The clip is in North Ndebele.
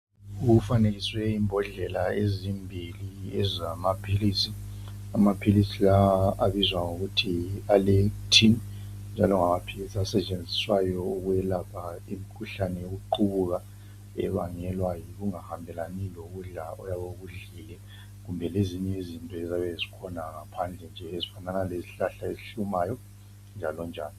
Kufanekiswe imbodlela ezimbili ezamaphilisi, amaphilisi lawa abizwa ngokuthi Aller-itin njalo ngamaphilisi asetshenziswayo ukwelapha imikhuhlane yokuqubuka ebangelwa yikungahambelani lokudla oyabe ukudlile kumbe lezinye izinto eziyabe zikhona phandle ezinjengezihlahla ezihlumayo njalo njalo.